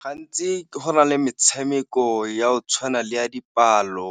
Gantsi go na le metshameko ya go tshwana le ya dipalo